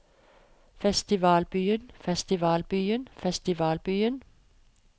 festivalbyen festivalbyen festivalbyen